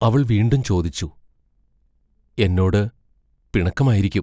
അവൾ വീണ്ടും ചോദിച്ചു: എന്നോടു പിണക്കമായിരിക്കും?